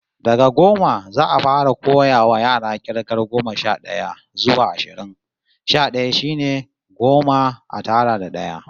Daga goma, za'a fara koyawa yara k'irgar goma sha d'aya zuwa ashirin. Sha d'aya shine goma a tara da d'aya